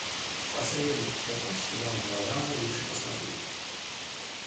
посоветуйте какой сериал мелодраму лучше посмотреть